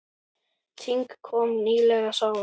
Þing kom nýlega saman.